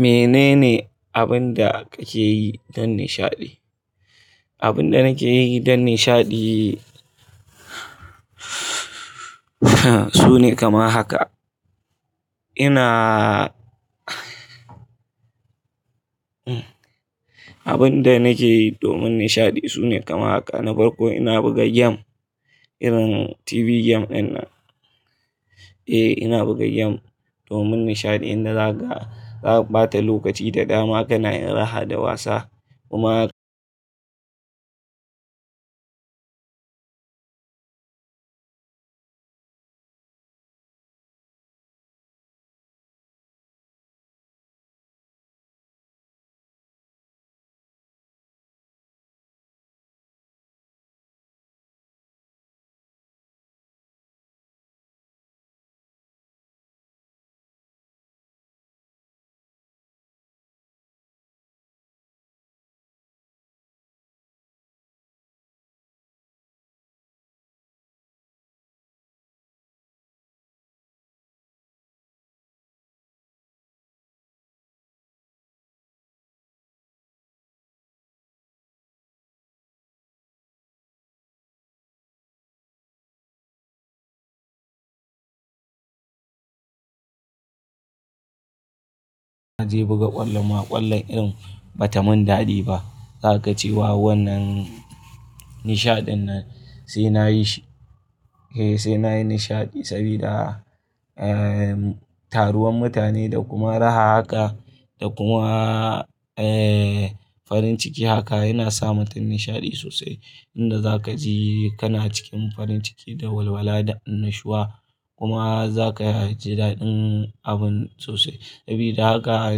Menene abin da kake yi dan nishaɗi? Abin da nake yi don nishaɗi sune kamar haka. Ina Abin da nake yi domin nishaɗi sune kamar haka. Na farko ina buga game irin TV game ɗin nan. Eh, ina buga game domin nishaɗi, inda za ga, za ka ɓata lokaci da dama kana yin raha da wasa. Kuma naje buga ƙwallo ma, ƙwallon irin bata mun daɗi ba. Za kaga cewa wannan nishaɗin nan sai nayi shi. Eh, sai nayi nishaɗi saboda, eh, taruwan mutane da kuma raha haka da kuma, eh, farin ciki haka yana sa mutum nishaɗi sosai. Inda za ka ji kana cikin farin ciki da walwala da annashuwa kuma za ka ji daɗin abun sosai. Sabida haka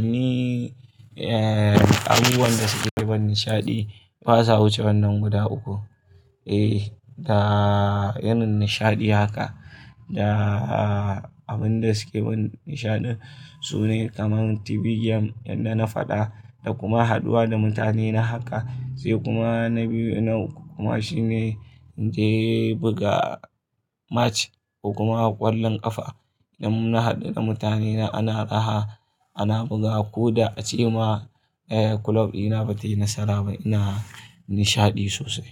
ni, eh, abubuwan da suke ban nishaɗi, basa wuce wannan guda uku. Eh, da yanun nishaɗi haka da abin da suke ban nishaɗi sune kamar TV game yadda na faɗa da kuma haɗuwa da mutane na haka. Sai kuma na biyu na uku kuma shine in je buga match ko kuma ƙwallon ƙafa. Idan na haɗu da mutane na ana raha, ana buga ko da a ce ma, eh, kulob ina bata yi nasara ba, ina nishaɗi sosai.